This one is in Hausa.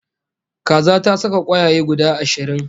Kaza ta saka kwayaye guda ashirin